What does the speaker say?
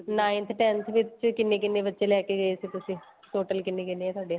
ninth tenth ਵਿੱਚ ਕਿੰਨੇ ਕਿੰਨੇ ਬੱਚੇ ਲੈਕੇ ਗਏ ਸੀ ਤੁਸੀਂ total ਕਿੰਨੇ ਕਿੰਨੇ ਏ ਤੁਹਾਡੇ